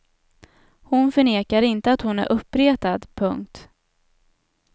Hon förnekar inte att hon är uppretad. punkt